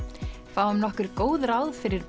fáum nokkur góð ráð fyrir